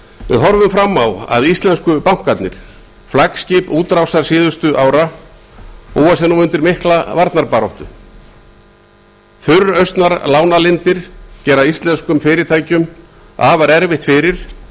við horfum fram á að íslensku bankarnir flaggskip útrásar síðustu ára búa sig nú undir mikla varnarbaráttu þurrausnar lánalindir gera íslenskum fyrirtækjum afar erfitt fyrir